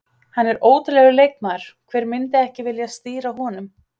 Hann er ótrúlegur leikmaður, hver myndi ekki vilja stýra honum?